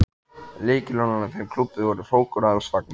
Lykilorðin að þeim klúbbi voru: hrókur alls fagnaðar.